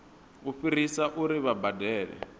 u fhirisa uri vha badele